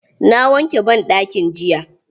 Na wanke banɗakin jiya.